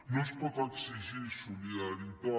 no es pot exigir solidaritat